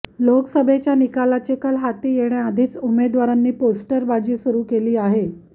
लोकसभेच्या निकालाचे कल हाती येण्याआधीच उमेदवारांनी पोस्टरबाजी सुरु केली आहे